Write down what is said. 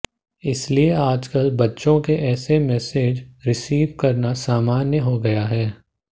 इसलिए आजकल बच्चों के ऐसे मेसेज रिसीव करना सामान्य हो गया है